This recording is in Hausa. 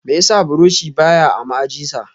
Meyasa buroshi ba ya a ma'aji sa?